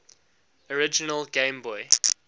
original game boy